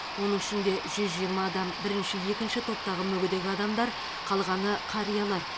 оның ішінде жүз жиырма адам бірінші екінші топтағы мүгедек адамдар қалғаны қариялар